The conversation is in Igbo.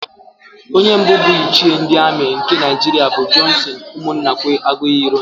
Onye mbụ bụ Ichie ndị Amị nke Naịjiria bụ Jọnsịn Ụmụnnakwe Aguiyi-Ironsị.